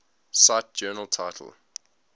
cite journal title